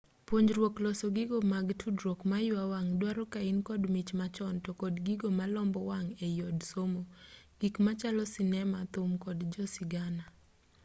punjruok loso gigo mag tudruok maywa wang duaro kain kod mich machon to kod gigo malombo wang ei od somo gik machalo sinema thum kod jasigana